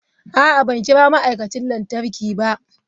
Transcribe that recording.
A'a, ban kira ma'aikacin lantarki ba.